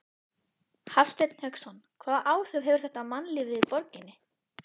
Hafsteinn Hauksson: Hvaða áhrif hefur þetta á mannlífið í borginni?